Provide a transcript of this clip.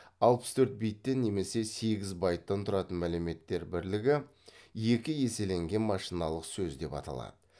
алпыс төрт биттен немесе сегіз байттан тұратын мәліметтер бірлігі екі еселенген машиналық сөз деп аталады